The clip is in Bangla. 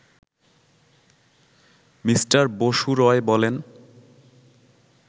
মিস্টার বসু রয় বলেন